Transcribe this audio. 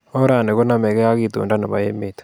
Orani konomegei ak itondo nebo emet